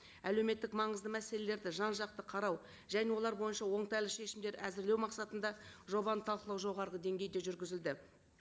әлеуметтік маңызды мәселелерді жан жақты қарау және олар бойынша оңтайлы шешімдер әзірлеу мақсатында жобаны талқылау жоғарғы деңгейде жүргізілді